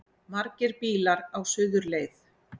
Margir bílar á suðurleið